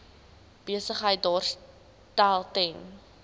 besigheid daarstel ten